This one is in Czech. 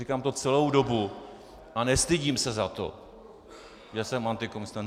Říkám to celou dobu a nestydím se za to, že jsem antikomunista.